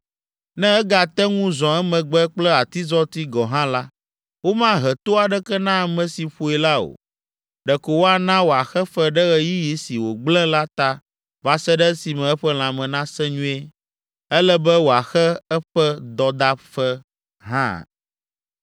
ne egate ŋu zɔ emegbe kple atizɔti gɔ̃ hã la, womahe to aɖeke na ame si ƒoe la o, ɖeko woana wòaxe fe ɖe ɣeyiɣi si wògblẽ la ta va se ɖe esime eƒe lãme nasẽ nyuie; ele be wòaxe eƒe dɔdaƒe hã.